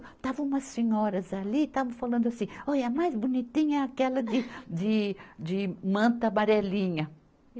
Estavam umas senhoras ali, estavam falando assim, olha a mais bonitinha é aquela de, de, de manta amarelinha.